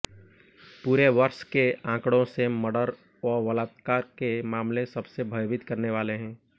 पूरे वर्ष के आंकड़ों से मर्डर व बलात्कार के मामले सबसे भयभीत करने वाले हैं